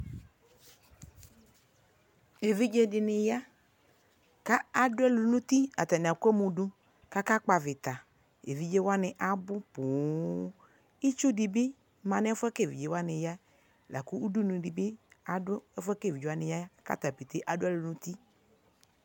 ɛvidzɛ dini ya kʋ adʋɛlʋ dʋnʋ ʋti, atani ka kpɔ aɣita, ɛvidzɛ wani abʋ pɔɔm itsʋ dibi manʋ ɛƒʋɛ bʋakʋ ɛvidzɛ wani ya lakʋ ʋdʋnʋ dibi adʋ ɛƒʋɛ bʋakʋ ɛvidzɛ wani yaɛ kʋ atani adʋɛlʋ nʋ ʋti